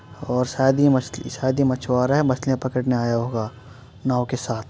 और शायद ये मचली शायद ये मछुवारा है मछलियाँ पकड़ने आया होगा नाव के साथ।